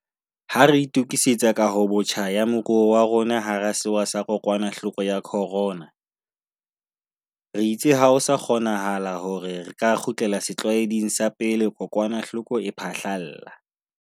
Ha re itukisetsa kahobotjha ya moruo wa rona hara sewa sa kokwanahloko ya corona, re itse ha ho sa kgonanahale hore re ka kgutlela setlwaeding sa pele kokwanahloko e phahlalla.